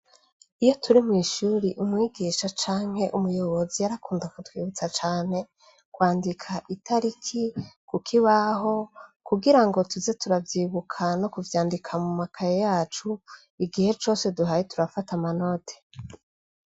Iyo turi mwishuri umwigisha canke umuyobozi yarakunda kutwibutsa cane kwandika itariki kuko ibaho kugira ngo tuze turabyibuka no kuvyandika mu makaye yacu igihe cose duhaye turafata amanote.